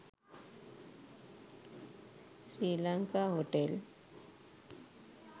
srilanka hotel